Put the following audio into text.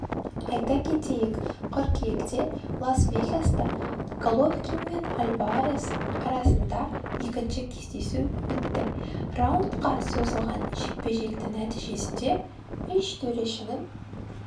айта кетейік қыркүйектелас-вегаста головкин мен альварес арасында екінші кездесу өтті раундқа созылған жекпе-жектің нәтижесінде үш төрешінің